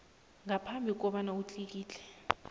ngaphambi kobana utlikitle